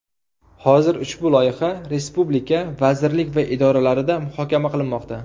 Hozir ushbu loyiha respublika vazirlik va idoralarida muhokama qilinmoqda.